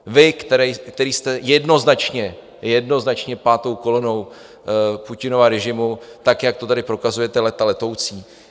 Vy, který jste jednoznačně, jednoznačně pátou kolonou Putinova režimu, tak jak to tady prokazujete léta letoucí?